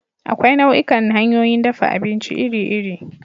Akwai nau'ikan hanyoyin dafa abinci iri-iri.